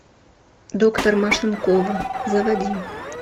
доктор машинкова заводи